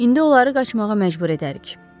İndi onları qaçmağa məcbur edərik.